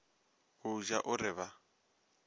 go ja o re ba